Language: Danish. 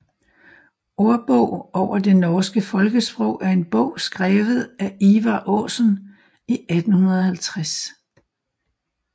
Ordbog over det norske Folkesprog er en bog skrevet af Ivar Aasen i 1850